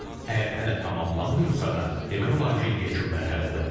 Əgər hələ tamamlanmayıbsa da, demək olar ki, yekun mərhələdədir.